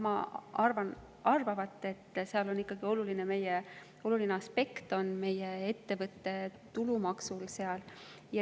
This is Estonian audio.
Ma arvan, et seal on ikkagi oluline meie ettevõtte tulumaks.